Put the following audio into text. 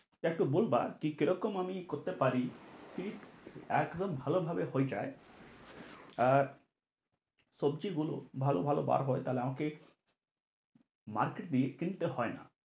একটু বলবা কি কিরকম আমি করতে পারি ঠিক একদম ভালো ভাবে হয়ে যাই আহ আর সবজি গুলো ভালো ভালো বার হয় তা হলে আমাকে market গিয়ে কিনতে হয় না।